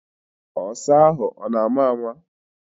Ọsa ahụ nọ na-ama ama.